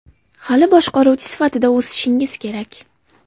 Hali boshqaruvchi sifatida o‘sishingiz kerak.